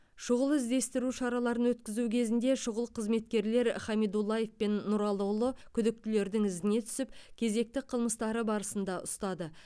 шұғыл іздестіру шараларын өткізу кезінде шұғыл қызметкерлер хамидуллаев пен нұралыұлы күдіктілердің ізіне түсіп кезекті қылмыстары барысында ұстады